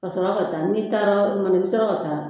Ka sɔrɔ ka taa n'i taara o kuma na i bi sɔrɔ ka taa